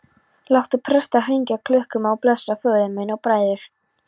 Láttu presta hringja klukkum og blessa föður minn og bræður.